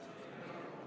Ruuben Kaalep, palun!